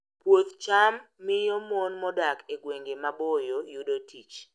Puoth cham miyo mon modak e gwenge maboyo yudo tich